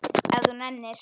Ef þú nennir.